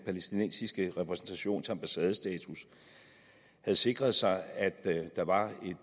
palæstinensiske repræsentation til ambassadestatus havde sikret sig at der var